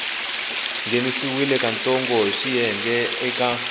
nghenisiwa katsongo hi swiyenge eka